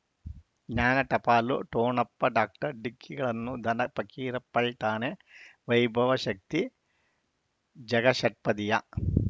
ಜ್ಞಾನ ಟಪಾಲು ಠೊಣಪ್ಪ ಡಾಕ್ಟರ್ ಢಿಕ್ಕಿ ಗಳನು ಧನ ಫಕೀರಪ್ಪ ಳಂತಾನೆ ವೈಭವ ಶಕ್ತಿ ಝಗಾ ಷಟ್ಪದಿಯ